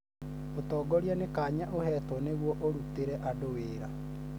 ũtongoria nĩ kanya ũhetwo nĩguo ũrutĩre andũ wĩra.